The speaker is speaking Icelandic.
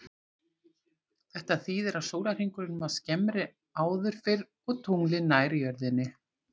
Þetta þýðir að sólarhringurinn var skemmri áður fyrr og tunglið nær jörðinni.